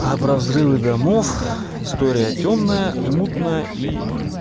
а про взрывы домов история тёмная мутная и